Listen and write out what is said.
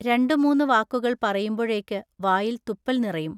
രണ്ടു മൂന്നു വാക്കുകൾ പറയുമ്പൊഴേക്കു വായിൽ തുപ്പൽ നിറയും.